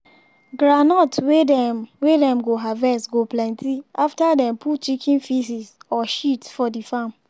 groundnut wey dem wey dem go harvest go plenty after dem put chicken faeces or shit for d farm.